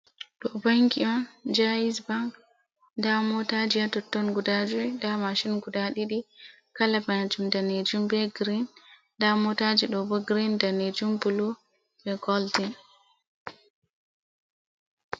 Ɗo banki on Ja'is bank. Nda motaji ha totton guda juwi, nda mashin guda ɗiɗi. Kala majum danejum, be grin nda motaji ɗobo grin danejum bulu be goldin.